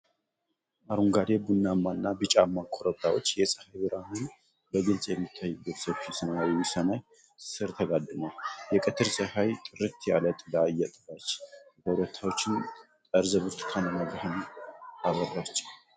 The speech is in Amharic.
አረንጓዴ፣ ቡናማ እና ቢጫማ ኮረብታዎች፣ የፀሐይ ብርሃን በግልጽ በሚታይበት ሰፊ ሰማያዊ ሰማይ ስር ተጋድመዋል። የቀትር ፀሐይ፣ ጥርት ያለ ጥላ እየጣለች፣ የኮረብታዎቹን ጠርዝ በብርቱካናማ ብርሃን አበራችው።